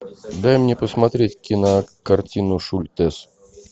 дай мне посмотреть кинокартину шультес